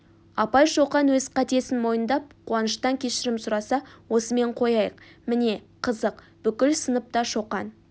апай шоқан өз қатесін мойындап қуаныштан кешірім сұраса осымен қояйық міне қызық бүкіл сынып та шоқан